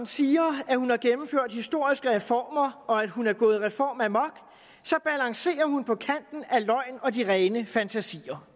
siger at hun har gennemført historiske reformer og at hun er gået reformamok så balancerer hun på kanten af løgn og de rene fantasier